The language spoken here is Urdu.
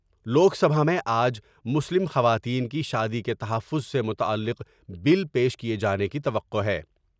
لوک سجا میں آ ج مسلم خواتین کی شادی کے تحفظ سے متعلق بل پیش کیئے جانے کی توقع ہے ۔